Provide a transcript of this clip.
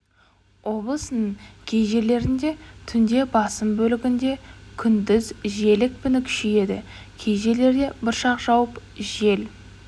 облысының кей жерлерінде түнде басым бөлігінде күндіз жел екпіні күшейеді кей жерлерде бұршақ жауып жел